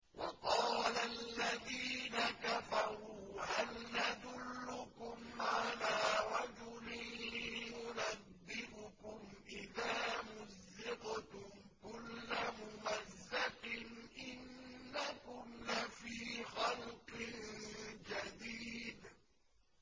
وَقَالَ الَّذِينَ كَفَرُوا هَلْ نَدُلُّكُمْ عَلَىٰ رَجُلٍ يُنَبِّئُكُمْ إِذَا مُزِّقْتُمْ كُلَّ مُمَزَّقٍ إِنَّكُمْ لَفِي خَلْقٍ جَدِيدٍ